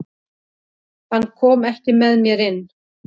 Hann kom ekki með mér inn.